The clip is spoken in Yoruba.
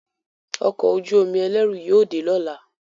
Ọkọ̀ ojú-omi ẹlẹru yóò dé lọla.